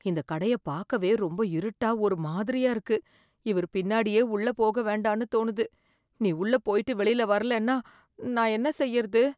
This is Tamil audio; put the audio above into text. இந்தக் கடயைப் பாக்கவே ரொம்ப இருட்டா ஒரு மாதிரியா இருக்கு, இவர் பின்னாடியே உள்ள போக வேண்டான்னு தோணுது. நீ உள்ள போயிட்டு வெளியில வரலன்னா நான் என்ன செய்யறது ?